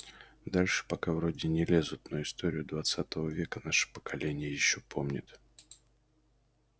дальше пока вроде не лезут но историю двадцатого века наше поколение ещё помнит